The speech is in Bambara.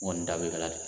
N kɔni da be kalan na